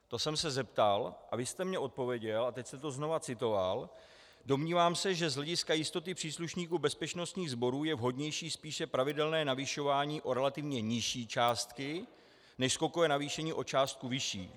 To jsem se zeptal a vy jste mně odpověděl, a teď jste to znovu citoval: Domnívám se, že z hlediska jistoty příslušníků bezpečnostních sborů je vhodnější spíše pravidelné navyšování o relativně nižší částky než skokové navýšení o částku vyšší.